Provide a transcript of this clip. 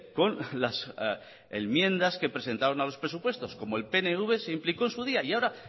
con las enmiendas que presentaron a los presupuestos como el pnv se implicó en su día y ahora